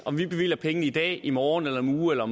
om vi bevilger pengene i dag i morgen om en uge eller